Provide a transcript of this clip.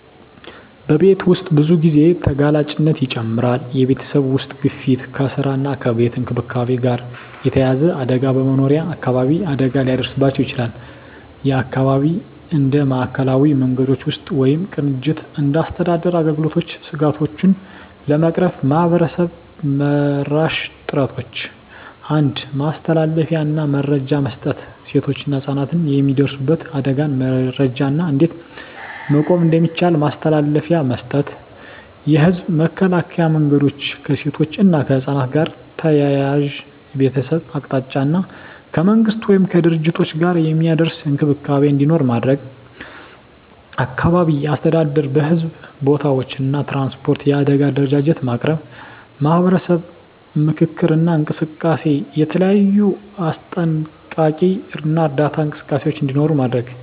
በቤት ውስጥ ብዙ ጊዜ ተጋላጭነት ይጨምራል የቤተሰብ ውስጥ ግፊት ከስራ እና ከቤት እንክብካቤ ጋር የተያያዘ አደጋ በመኖሪያ አካባቢ አደጋ ሊደርስባቸው ይችላል (የአካባቢ እንደ ማዕከላዊ መንገዶች ውስጥ ወይም ቅንጅት እንደ አስተዳደር አገልግሎቶች ስጋቶቹን ለመቅረፍ ማህበረሰብ-መራሽ ጥረቶች 1. ማስተላለፊያ እና መረጃ መስጠት ሴቶችና ህፃናት የሚደርሱበት አደጋን መረጃ እና እንዴት መቆም እንደሚቻል ማስተላለፊያ መስጠት። የህዝብ መከላከያ መንገዶች ከሴቶች እና ከህፃናት ጋር ተያያዘ የቤተሰብ አቅጣጫ እና ከመንግሥት ወይም ከድርጅቶች ጋር የሚደርስ እንክብካቤ እንዲኖር ማድረግ። አካባቢ አስተዳደር በሕዝብ ቦታዎች እና ትራንስፖርት የአደጋ አደረጃጀት ማቅረብ። ማህበረሰብ ምክክር እና እንቅስቃሴ የተለያዩ አስጠንቀቂ እና እርዳታ እንቅስቃሴዎች እንዲኖሩ ማድረግ።